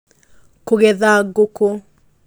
Kũgetha Ngũkũ